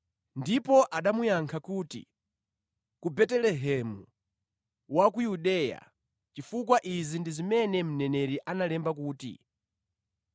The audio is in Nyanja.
Ndipo anamuyankha kuti, “Ku Betelehemu wa ku Yudeya chifukwa izi ndi zimene mneneri analemba kuti,